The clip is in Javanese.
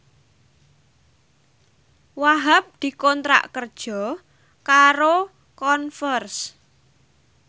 Wahhab dikontrak kerja karo Converse